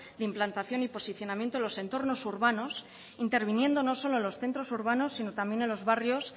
de implantación y posicionamiento en los entornos urbanos interviniendo no solo en los centros urbanos sino también en los barrios